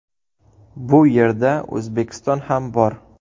Bu yerda O‘zbekiston ham bor .